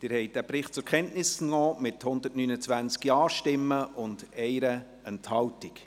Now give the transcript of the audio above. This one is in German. Sie haben diesen Bericht zur Kenntnis genommen, mit 129 Ja-Stimmen bei 1 Enthaltung.